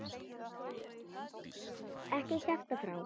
Ekki kjafta frá.